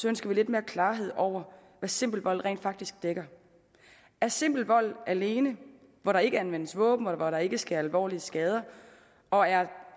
ønsker vi lidt mere klarhed over hvad simpel vold rent faktisk dækker er simpel vold alene hvor der ikke anvendes våben og hvor der ikke sker alvorlige skader og er